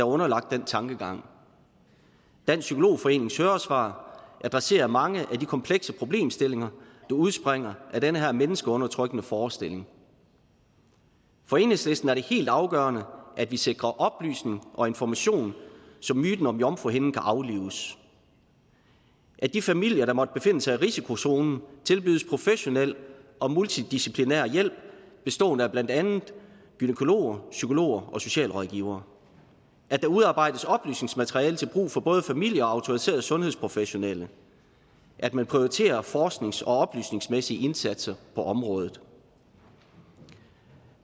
underlagt den tankegang dansk psykologforenings høringssvar adresserer mange af de komplekse problemstillinger der udspringer af den her menneskeundertrykkende forestilling for enhedslisten er det helt afgørende at vi sikrer oplysning og information så myten om jomfruhinden kan aflives at de familier der måtte befinde sig i risikozonen tilbydes professionel og multidisciplinær hjælp bestående af blandt andet gynækologer psykologer og socialrådgivere at der udarbejdes oplysningsmateriale til brug for både familier og autoriserede sundhedsprofessionelle at man prioriterer forsknings og oplysningsmæssige indsatser på området